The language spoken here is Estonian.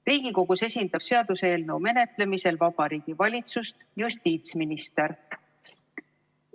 Riigikogus esindab seaduseelnõu menetlemisel Vabariigi Valitsust justiitsminister.